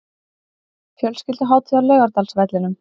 Fjölskylduhátíð á Laugardalsvellinum